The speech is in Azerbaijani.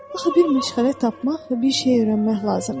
Axı bir məşğələ tapmaq və bir şey öyrənmək lazımdır.